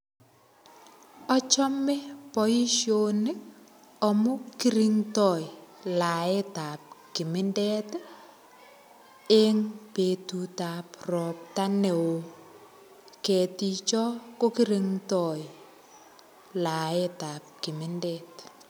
Achome boisioni amu kirindo laetab kimindet en betutab ropta neo. Keticho ko korindoi laetab kimindet.